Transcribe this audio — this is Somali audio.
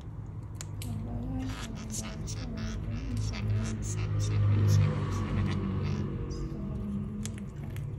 Kaabayaasha waxbarashada waxaa inta badan waxyeelo ama burburiya iskahorimaadyada.